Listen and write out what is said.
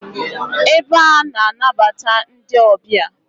Ebe a na-anabata ndi obia